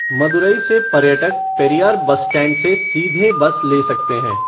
मदुरै से पर्यटक Periyar bus stand से सीधे बस ले सकते हैं।